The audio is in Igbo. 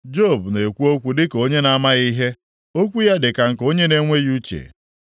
‘Job na-ekwu okwu dịka onye na-amaghị ihe; okwu ya dị ka nke onye na-enweghị uche.’